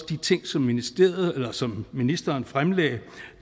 de ting som ministeren som ministeren fremlagde